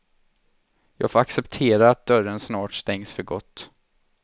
Jag får acceptera att dörren snart stängs för gott.